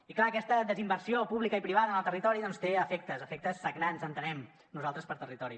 i clar aquesta desinversió pública i privada en el territori doncs té efectes efectes sagnants entenem nosaltres per al territori